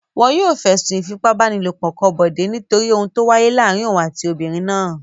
Wọn yóò fẹ̀sùn ìfipábánilòpọ̀ kan Bọ̀dé nítorí ohun tó wáyé láàárin òun àti obìnrin náà.